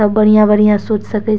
सब बढ़िया बढ़िया सोच सके छै ।